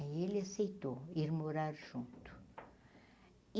Aí ele aceitou ir morar junto.